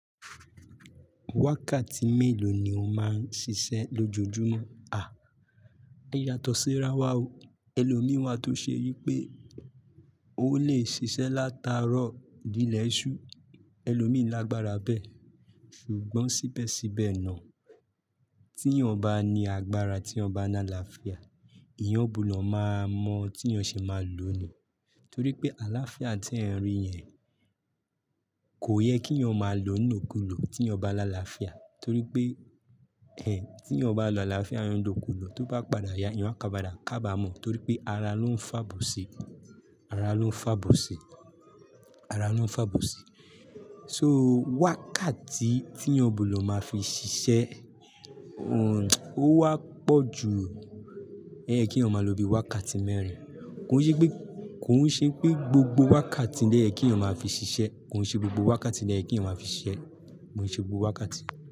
Wákàtí mélòó ni o máa ń ṣiṣẹ́ lójoojúmọ́? À, á yàtọ̀ sí ra wa o. Ẹlòmíì wa tó ṣe yí pé o lè ṣiṣẹ́ látàárọ̀ dé ilẹ̀ ẹṣù, ẹlòmíì lágbára bẹ́ẹ̀. Ṣùgbọ́n síbẹ̀síbẹ̀ náà, tí ìyẹn ò bá ní agbára, tí ìyẹn ò bá ní àlàáfíà, ìyẹn òún búdọ̀ máa mọ tí ìyẹn ṣe máa lò ni. Torí pé àlàáfíà tí ẹ̀ ń rí yẹn kò yẹ kí ìyẹn ó máa lò ni lo kù lò tí ìyẹn bá lá àlàáfíà. Torí pé, ẹn, tí ìyẹn ò bá lọ àlàáfíà, ìyẹn ni lò kù lò, tó bá padà ya, ìyẹn á kaba dà kaba mọ́ torí pé ara ló ń fàbò ṣi. Ara ló ń fàbò ṣe. Ara ló ń fàbò ṣi. So wákàtí tí ìyẹn òún búlọ̀ máa fi ṣiṣẹ́, òún, ó wá pọ̀ ju oye kí eyan máa lọ bíi wákàtí mẹ́rin. Kò ṣe pé, kò hún ṣe pé gbogbo wákàtí ni oye kí eyan máa fi ṣiṣẹ́. Kò hún ṣe gbogbo wákàtí ni ẹyẹ kí eyan máa fi ṣiṣẹ́. Kò hún ṣe gbogbo wákàtí.